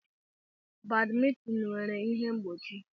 Badmintin nwere ihe mgbochi.